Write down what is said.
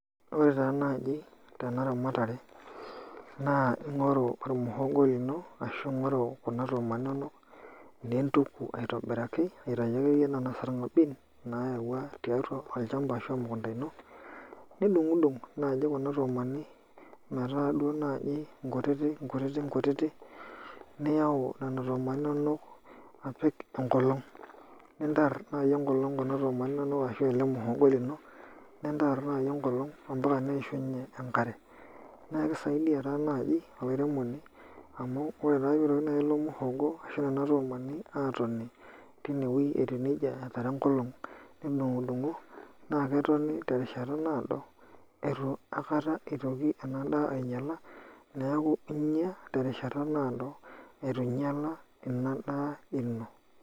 Ore taa naaji tena ramatare naa ing'oru ormuhogoi lino ashu ing'oru kuna nduma inonok nintuku aitobiraki aiatayu akeyie nena sarng'abin naayaua tiatua olchamba ashu emukunda ino nidung'udung naaji kuna tuumani metaa duo naaji nkutitik niyau nena tuumani inonok apik enkolong' nintarr naai enkolong' kuna tuumani inonok ashu aa ele muhogoi lino nintarr nai enkolong' mpaka neishunye enkare naa kisaidia taa naaji olairemoni amu ore taa naai peeitoki ilo mhogo ashu nena tuumani aatoni tine wuei etiu neija etarra enkolong' nitudung'udung'o naa ketoni terishata naado naa keeku inya terishata naado itu inyiala ina daa ino.